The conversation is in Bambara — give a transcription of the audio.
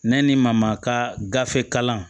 Ne ni maa ma ka gafe kalan